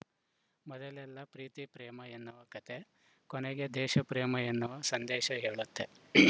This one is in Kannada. ಮೊದಲೆಲ್ಲ ಪ್ರೀತಿ ಪ್ರೇಮ ಎನ್ನುವ ಕತೆ ಕೊನೆಗೆ ದೇಶ ಪ್ರೇಮ ಎನ್ನುವ ಸಂದೇಶ ಹೇಳುತ್ತೆ